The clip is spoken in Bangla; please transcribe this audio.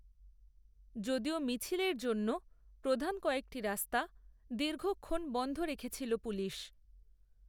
যদিও মিছিলের জন্য প্রধান কয়েকটি রাস্তা, দীর্ঘক্ষণ বন্ধ রেখেছিল পুলিশ